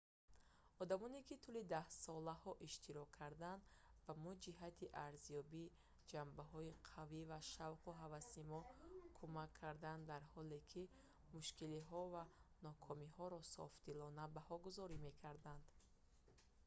одамоне ки тӯли даҳсолаҳо иштирок карданд ба мо ҷиҳати арзёбии ҷанбаҳои қавӣ ва шавқу ҳаваси мо кумак карданд дар ҳоле ки мушкилиҳо ва нокомиҳоро софдилона баҳогузорӣ мекарданд